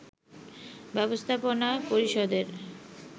ব্যবস্থাপনা পরিষদের